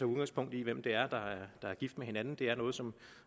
udgangspunkt i hvem der er gift med hinanden det er noget som